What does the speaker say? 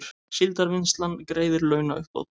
Síldarvinnslan greiðir launauppbót